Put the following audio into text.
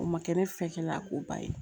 O ma kɛ ne fɛ kɛla ko ba ye